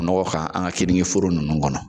Nɔgɔ kan an ka keninke foro ninnu kɔnɔ.